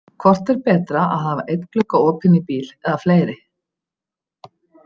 Hvort er betra að hafa einn glugga opinn í bíl eða fleiri.